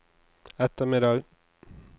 ettermiddag